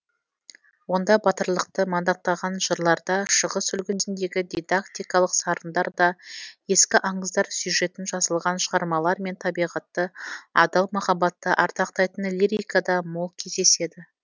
онда батырлықты мадақтаған жырларда шығыс үлгісіндегі дидактикалық сарындар да ескі аңыздар сюжетін жазылған шығармалар мен табиғатты адал махаббатты ардақтайтын лирика да мол кездеседі